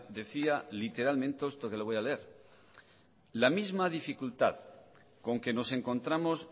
decía literalmente esto que le voy a leer la misma dificultad con que nos encontramos